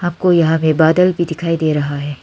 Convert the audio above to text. आपको यहां पे बादल भी दिखाई दे रहा है।